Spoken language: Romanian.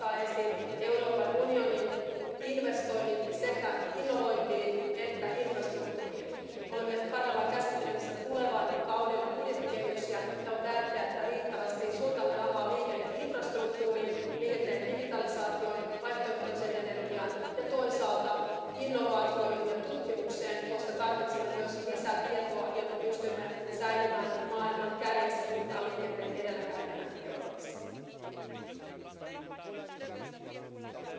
Domnule președinte, doamna comisar, stimați colegi, cred că nimeni dintre noi nu poate să nege transportul influențează tot. Influențează economia, randamente, productivități, influențează mediul, influențează, evident, viața oamenilor oriunde, în orice țară. Încă în Uniunea Europeană, din păcate, găsim cetățeni supărați, companii supărate, avem ambuteiaje, avem aglomerări în mediul urban. Este foarte bine binevenit acest raport și a plecat, sigur, de la comunicarea Comisiei Europa în mișcare. Eu vreau